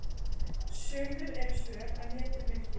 Sumur eru svöl en vetur mildir.